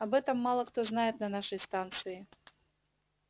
об этом мало кто знает на нашей станции